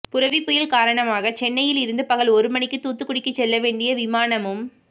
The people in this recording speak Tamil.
புரெவி புயல் காரணமாக சென்னையில் இருந்து பகல் ஒரு மணிக்கு தூத்துக்குடிக்கு செல்ல வேண்டிய விமானமும்